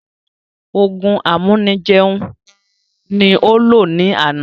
Òògùn amúni jẹun ní ó lò ní àná